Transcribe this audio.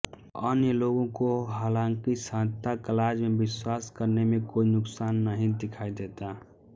अन्य लोगों को हालांकि सांता क्लॉज़ में विश्वास करने में कोई नुकसान नहीं दिखाई देता